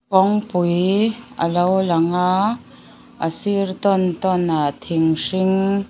kawngpui a lo lang a a sir tawn tawn ah thing hring --